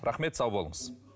рахмет сау болыңыз